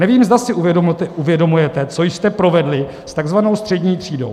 Nevím, zda si uvědomujete, co jste provedli s tzv. střední třídou.